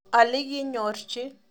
Alikinyorji.